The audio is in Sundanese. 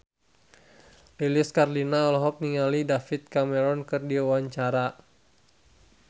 Lilis Karlina olohok ningali David Cameron keur diwawancara